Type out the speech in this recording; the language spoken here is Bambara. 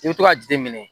I bɛ to ka jateminɛ